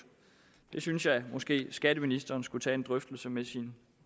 det synes jeg måske at skatteministeren skulle tage en drøftelse om med sin